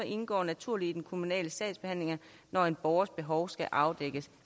indgår naturligt i den kommunale sagsbehandling når en borgers behov skal afdækkes